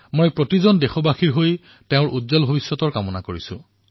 মই সকলো দেশবাসীৰ তৰফৰ পৰা তেওঁৰ উজ্বল ভৱিষ্যতৰ বাবে কামনা কৰিছোঁ